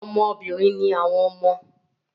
Ọmọ obìnrin ni àwọn ọmọ